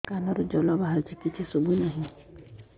କାନରୁ ଜଳ ବାହାରୁଛି କିଛି ଶୁଭୁ ନାହିଁ